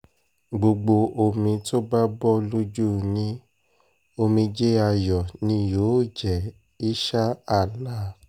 gbogbo omi tó bá bọ́ lójú yín omijé ayọ̀ ni yóò jẹ́ insha allah